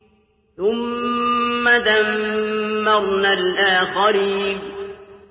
ثُمَّ دَمَّرْنَا الْآخَرِينَ